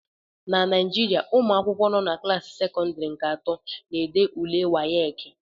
na Naijiria, ụmụ akwụkwọ nọ na klaasị sekọndịrị nke atọ na-ede ule WAEKI